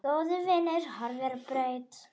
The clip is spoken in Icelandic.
Góður vinur horfinn á braut.